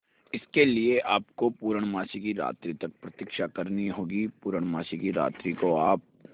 इसके लिए आपको पूर्णमासी की रात्रि तक प्रतीक्षा करनी होगी पूर्णमासी की रात्रि को आप